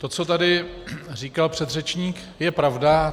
To, co tady říkal předřečník, je pravda.